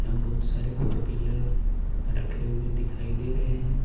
बहुत सारे four wheeler रखे हुए दिखाई दे रहे हैं।